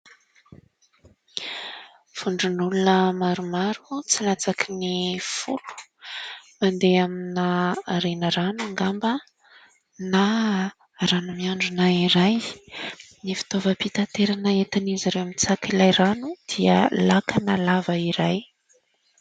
Vondron'olona maromaro tsy latsaky ny folo mandeha amina renirano angamba ? Na rano miandrona iray, ny fitaovam-pitaterana entin'izy ireo manitsaka ilay rano dia lakana lava iray.